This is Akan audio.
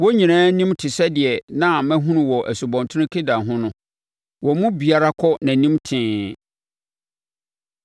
Wɔn nyinaa animu te sɛ deɛ na mahunu wɔ Asubɔnten Kebar ho no. Wɔn mu biara kɔ nʼanim tee.